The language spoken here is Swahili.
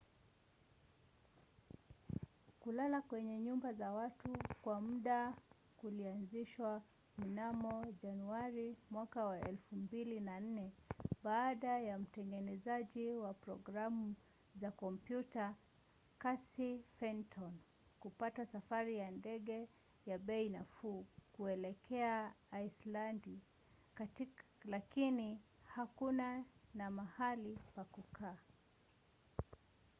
kulala kwenye nyumba za watu kwa muda kulianzishwa mnamo januari 2004 baada ya mtengenezaji wa programu za kompyuta casey fenton kupata safari ya ndege ya bei nafuu kuelekea aislandi lakini hakuwa na mahali pa kukaa